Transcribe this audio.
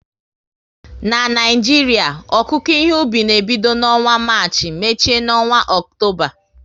Na Naijiria, okuko ihe obi na ebido n'ọnwa Marchi, mechie n'ọnwa Ọktoba